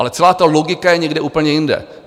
Ale celá ta logika je někde úplně jinde.